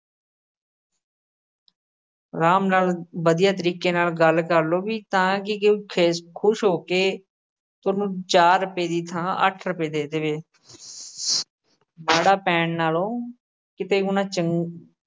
ਆਰਾਮ ਨਾਲ ਵਧੀਆ ਤਰੀਕੇ ਨਾਲ ਗੱਲ ਕਰ ਲਓ ਵੀ ਤਾਂ ਕਿ ਕੋਈ ਖਿਸ਼ ਅਹ ਖੁਸ਼ ਹੋ ਕੇ ਸੋਨੂੰ ਚਾਰ ਰੁਪਏ ਦੀ ਥਾਂ ਅੱਠ ਰੁਪਏ ਦੇ ਦੇਵੇ ਮਾੜਾ ਪੈਣ ਨਾਲੋਂ ਕਿਤੇ ਹੋਣਾ ਚੰ ਅਹ